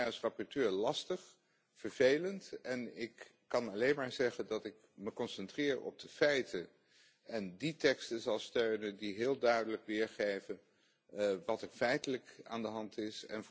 Dat is voor mij als rapporteur lastig, vervelend, en ik kan alleen maar zeggen dat ik me concentreer op de feiten en die teksten zal steunen die heel duidelijk weergeven wat er feitelijk aan de hand is.